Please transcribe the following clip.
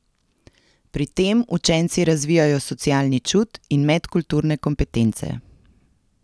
Pri tem učenci razvijajo socialni čut in medkulturne kompetence.